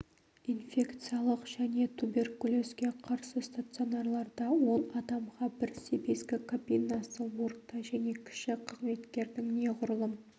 инфекциялық және туберкулезге қарсы стационарларда он адамға бір себезгі кабинасы орта және кіші қызметкердің неғұрлым